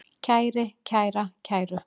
kæri, kæra, kæru